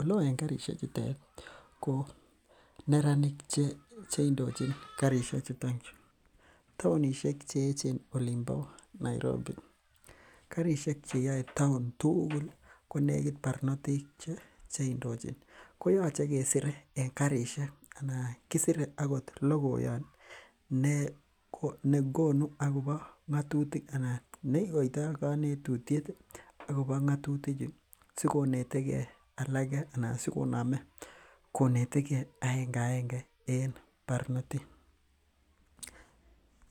oleo en karisiek chutet ko neranik cheindochin karisiek chutonchu en taonisiek cheechen en olimbo Nairobi. En taon tugul konegit barnotik cheindochin. Koyache kesire karisiek anan kisire akoth logoyan ih negonu akobo ng'atutik anan neikoitha kanetutiet ih akobo ng'atutik chu sikonetegee alake anan sikoname konetee aenge aenge en barnotik.